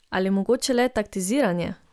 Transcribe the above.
Ali mogoče le taktiziranje?